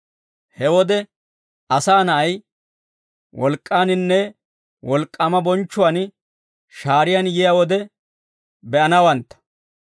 He wode Asaa Na'ay wolk'k'aaninne wolk'k'aama bonchchuwaan shaariyaan yiyaa wode be'anawantta.